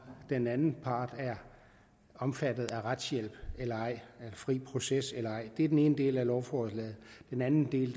den anden part er omfattet af retshjælp eller ej af fri proces eller ej det er den ene del af lovforslaget den anden del